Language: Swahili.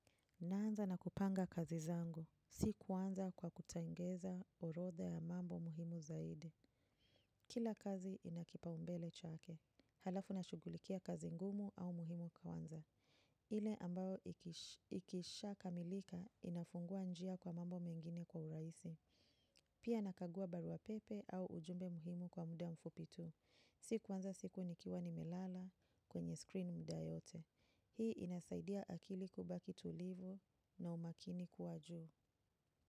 Naanza na kupanga kazi zangu. Si kuanza kwa kutengeza orodhe ya mambo muhimu zaidi. Kila kazi ina kipaumbele chake. Halafu nashughulikia kazi ngumu au muhimu kwanza. Ile ambayo ikisha kamilika inafungua njia kwa mambo mengine kwa urahisi. Pia, nakagua barua pepe au ujumbe muhimu kwa muda mfupi tu. Si, kuanza siku nikiwa nimelala kwenye screen muda yote. Hii inasaidia akili kubaki tulivu na umakini kuwa juu.